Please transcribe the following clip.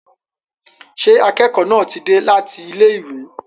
Ṣé akẹ́kọ̀ọ́ náà ti dé láti ilé ìwé?